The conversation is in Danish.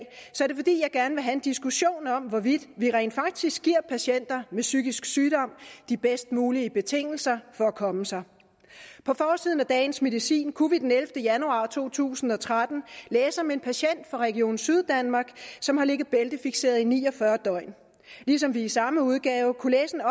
er gerne vil have en diskussion om hvorvidt vi rent faktisk giver patienter med psykisk sygdom de bedst mulige betingelser for at komme sig på forsiden af dagens medicin kunne vi den ellevte januar to tusind og tretten læse om en patient fra region syddanmark som har ligget bæltefikseret i ni og fyrre døgn ligesom vi i samme udgave kunne læse